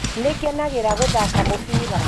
Nĩ ngenagera gũthaka mũbira.